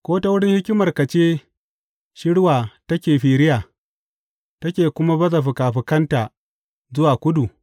Ko ta wurin hikimarka ce shirwa take firiya take kuma baza fikafikanta zuwa kudu?